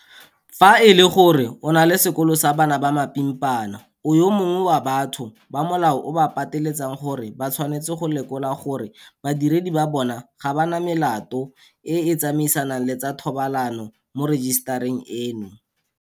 Fa e le gore o na le sekolo sa bana ba mapimpana, o yo mongwe wa batho ba molao o ba pateletsang gore ba tshwanetse go lekola gore badiredi ba bona ga ba na melato e e tsamaisanang le tsa thobalano mo rejisetareng eno.